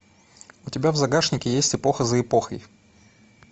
у тебя в загашнике есть эпоха за эпохой